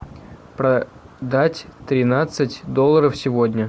продать тринадцать долларов сегодня